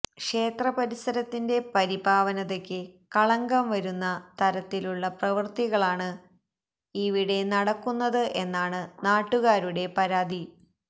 ക്ഷേത്രപരിസരത്തിന്റെ പരിപാവനതയ്ക്ക് കളങ്കം വരുന്ന തരത്തിലുള്ള പ്രവൃത്തികളാണ് ഇവിടെ നടക്കുന്നത് എന്നാണ് നാട്ടുകാരുടെ പരാതി